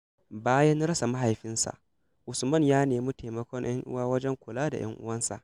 Bayan rasa mahaifinsa, Usman ya nemi taimakon ‘yan uwa wajen kula da ‘yan’uwansa.